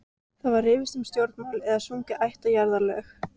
Ýmist var rifist um stjórnmál eða sungin ættjarðarlög.